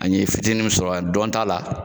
A ye fitinin mun sɔrɔ a dɔn ta la